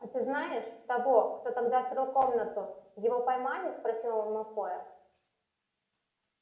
а ты знаешь того кто тогда открыл комнату его поймали спросил он малфоя